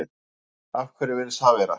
Af hverju virðist það vera?